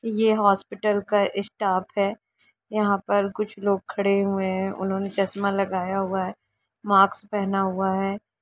यह हॉस्पिटल का स्टाफ है यहाँ पे कुछ लोग खड़े हुए है उन्होंने चश्मा लगाया हुआ है माक्स पहना हुआ है।